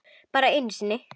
Bara einu sinni?